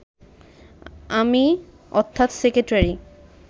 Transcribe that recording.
আমি, অর্থাৎ সেক্রেটারি